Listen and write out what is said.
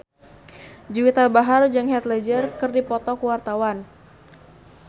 Juwita Bahar jeung Heath Ledger keur dipoto ku wartawan